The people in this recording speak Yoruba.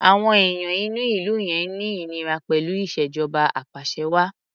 Àwọn èèyàn inú ìlú yẹn ń ní ìníra pẹ̀lú ìṣèjọba apàṣẹwàá.